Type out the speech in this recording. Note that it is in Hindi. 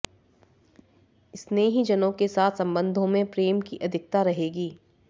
स्नेहीजनों के साथ संबंधों में प्रेम की अधिकता रहेगी